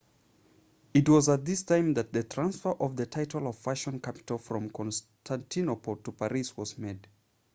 it was at this time that the transfer of the title of fashion capital from constantinople to paris was made